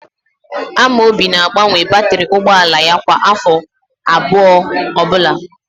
Amobi na-agbanwe batịrị ụgbọala ya kwa áfọ abụọ ọbụla.